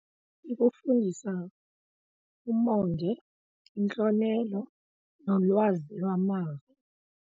Ikufundisa umonde, intlonelo nolwazi lwamava.